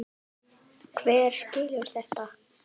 Hver skilur þetta?